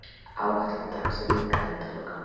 Áætluð dagsetning endalokanna,.